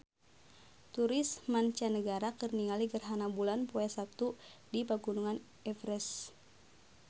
Turis mancanagara keur ningali gerhana bulan poe Saptu di Pegunungan Everest